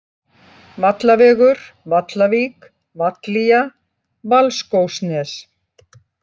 Vallavegur, Vallavík, Vallía, Valskógsnes